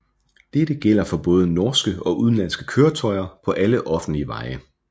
Dette gælder for både norske og udenlandske køretøjer på alle offentlige veje